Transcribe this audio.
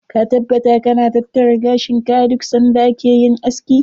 Ka taabbata ka na tattara gashin ka a duk lokacin da ka je yin aski.